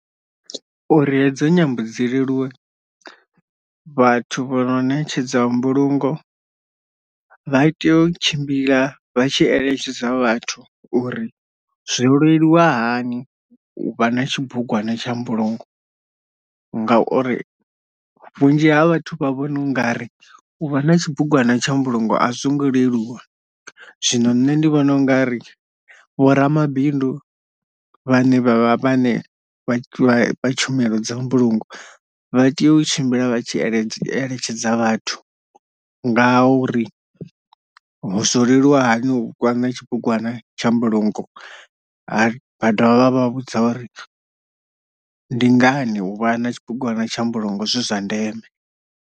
Uri hedzo nyambo dzi leluwe vhathu vho no ṋetshedza mbulungo vha tea u tshimbila vha tshi eletshedza vhathu uri zwi leluwa hani uvha na tshibugwana tsha mbulungo ngauri vhunzhi ha vhathu vha vhona ungari uvha na tshibugwana tsha mbulungo, ngauri vhunzhi ha vhathu vha vhona ungari u vha na tshibugwana tsha mbulungo a zwo ngo leluwa. Zwino nṋe ndi vhona ungari vhoramabindu vhane vhavha vha vhane vha tshumelo dza mbulungo vha tea u tshimbila vha tshi ele eletshedza vhathu nga uri ho zwo leluwa hani u vha na tshibugwana tsha mbulungo vha dovha vha vhudza uri ndi ngani uvha na tshibugwana tsha mbulungo zwi zwa ndeme.